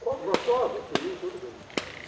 Gostoso, sim, tudo bem.